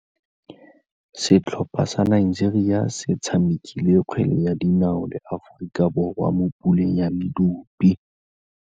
Setlhopha sa Nigeria se tshamekile kgwele ya dinaô le Aforika Borwa mo puleng ya medupe.